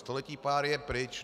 Století páry je pryč.